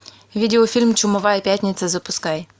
видеофильм чумовая пятница запускай